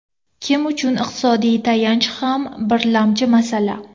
Kim uchun iqtisodiy tayanch ham birlamchi masala.